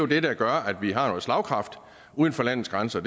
det der gør at vi har noget slagkraft uden for landets grænser